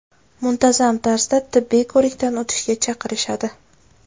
Muntazam tarzda tibbiy ko‘rikdan o‘tishga chaqirishadi”.